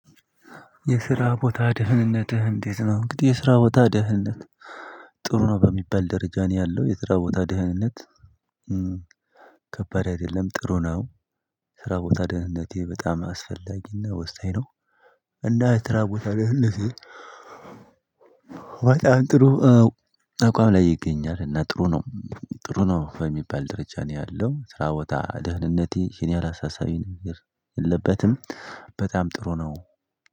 የስራ ቦታ ደህንነትህ እንዴት ነው? እንግዲህ የስራ ቦታ ደህንነት ጥሩ ነው በሚባል ደረጃ ነው ያለው የስራ ቦታ ደህንነት ከባድ አይደለም ጥሩ ነው። ስራ ቦታ ደህንነቴ በጣም አስፈላጊና ወሳኝ ነው። እና የስራ ቦታ ደህንነቴ በጣም ጥሩ አቋም ላይ ይገኛል እና ጥሩ ነው። ጥሩ ነው በሚባል ደረጃ ነው ያለው ስራ ቦታ ደህንነቴ ይህን ያህል አላሳሳቢ ነገር የለበትም። በጣም ጥሩ ነው።